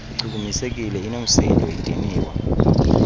ichukumisekile inoomsindo idiniwe